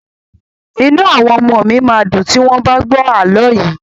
Inú àwọn ọmọọ̀ mi máa dùn tí wọ́n bá gbọ́ àlọ́ yìí.